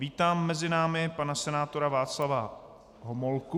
Vítám mezi námi pana senátora Václava Homolku.